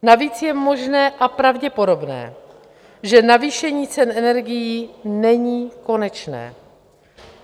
Navíc je možné a pravděpodobné, že navýšení cen energií není konečné.